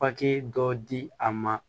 Papiye dɔ di a ma